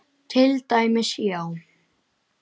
Til dæmis, já.